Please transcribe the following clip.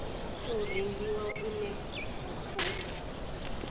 tou rengiwa une wa khou